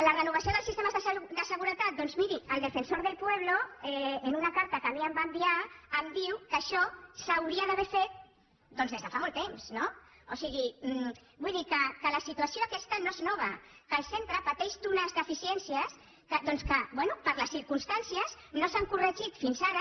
la renovació dels sistemes de seguretat doncs miri el defensor del pueblo en una carta que em va enviar em diu que això s’hauria d’haver fet fa molt temps no o sigui vull dir que la situació aquesta no és nova que el centre pateix unes deficiències que bé per les circumstàncies no s’han corregit fins ara